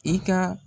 I ka